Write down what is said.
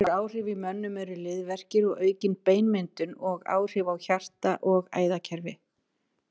Önnur áhrif í mönnum eru liðverkir og aukin beinmyndun og áhrif á hjarta og æðakerfi.